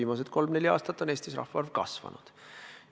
Viimased kolm-neli aastat on Eestis rahvaarv kasvanud.